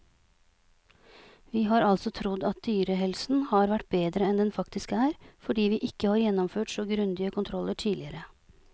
Vi har altså trodd at dyrehelsen har vært bedre enn den faktisk er, fordi vi ikke har gjennomført så grundige kontroller tidligere.